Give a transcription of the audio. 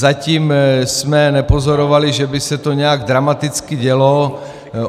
Zatím jsme nepozorovali, že by se to nějak dramaticky dělo.